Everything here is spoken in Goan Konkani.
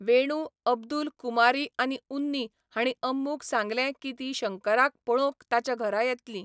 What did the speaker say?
वेणु, अब्दुल, कुमारी आनी उन्नी हांणी अम्मूक सांगलें की तीं शंकराक पळोवंक ताच्या घरा येतली.